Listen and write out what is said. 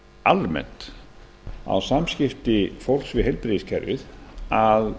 almennt á samskipti fólks við heilbrigðiskerfið að